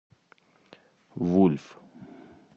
вульф